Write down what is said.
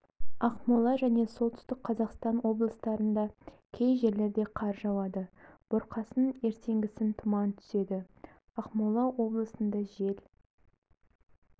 ақмола және солтүстік қазақстан облыстарында кей жерлерде қар жауады бұрқасын ертеңгісін тұман түседі ақмола облысында жел